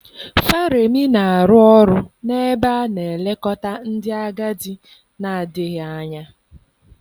Faremi na-arụ ọrụ n'ebe a na-elekọta ndị agadi na-adịghị anya.